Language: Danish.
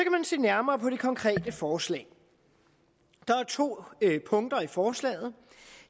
se nærmere på det konkrete forslag der er to punkter i forslaget